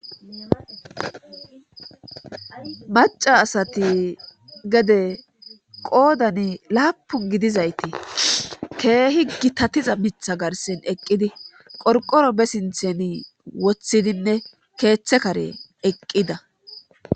maca asati gede qoodan laapun gidizayti keehi gitatiza mitha garsen eqqidi qorqoro be sinthen woththidinne keeththe karen eqqida